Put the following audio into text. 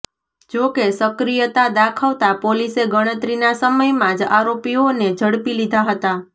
જોકે સક્રિયતા દાખવતા પોલીસે ગણતરીના સમયમાં જ આરોપીઓને ઝડપી લીધા હતા